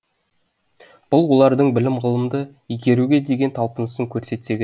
бұл олардың білім ғылымды игеруге деген талпынысын көрсетсе керек